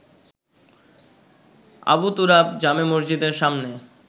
আবু তুরাব জামে মসজিদের সামনে